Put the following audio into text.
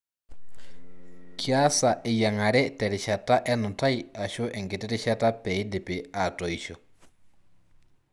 Kiasa eyiangare terishata enutai ashu enkiti rishata peidipi atoisho.